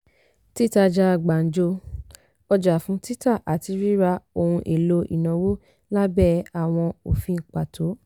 títajà gbanjo - ọjà fún títa àti ríra ohun èlò ìnáwó lábẹ́ àwọn òfin pàtó.